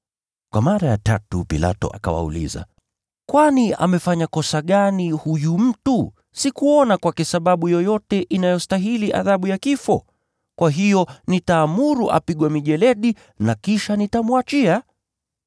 Kwa mara ya tatu, Pilato akawauliza, “Kwani amefanya kosa gani huyu mtu? Sikuona kwake sababu yoyote inayostahili adhabu ya kifo. Kwa hiyo nitaamuru apigwe mijeledi, na kisha nitamwachia.”